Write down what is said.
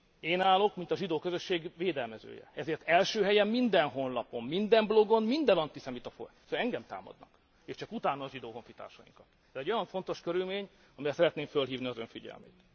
Én állok, mint a zsidó közösség védelmezője, ezért első helyen minden honlapon, minden blogon, minden antiszemita fórumon engem támadnak, és csak utána a zsidó honfitársainkat. Ez egy olyan fontos körülmény, amire szeretném fölhívni az Ön figyelmét.